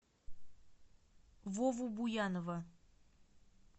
вову буянова